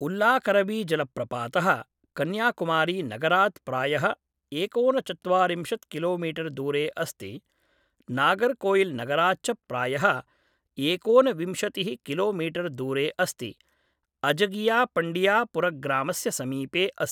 उल्लाकरवीजलप्रपातः कन्याकुमारीनगरात् प्रायः एकोनचत्वारिंशत् किलोमीटर् दूरे अस्ति, नागर्कोइलनगरात् च प्रायः एकोनविंशतिः किलोमीटर् दूरे अस्ति, अझगियापण्डियापुरमग्रामस्य समीपे अस्ति ।